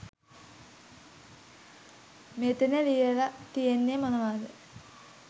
මෙතන ලියල තියෙන්නෙ මොනවද?.